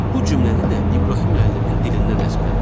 Bu cümləni də İbrahim müəllimin dilindən əzbərləyib.